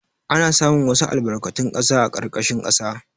Ana samun wasu albarkatun ƙasa a ƙarƙashin ƙasa.